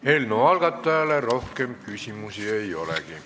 Eelnõu algatajale rohkem küsimusi ei olegi.